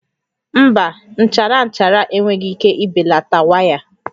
Mba, nchara nchara enweghị ike ibelata waya a